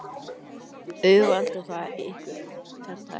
Auðveldar það ykkur þetta eitthvað?